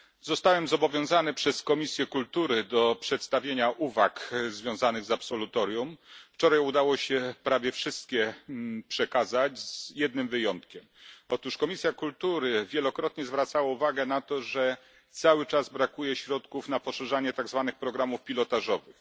Panie Przewodniczący! Zostałem zobowiązany przez Komisję Kultury do przedstawienia uwag związanych z absolutorium. Wczoraj udało się prawie wszystkie przekazać z jednym wyjątkiem otóż Komisja Kultury wielokrotnie zwracała uwagę na to, że cały czas brakuje środków na poszerzanie tak zwanych programów pilotażowych.